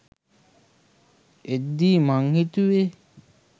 එද්දි මං හිතුවෙ